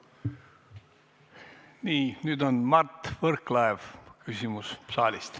Nii, nüüd on Mart Võrklaeva küsimus saalist.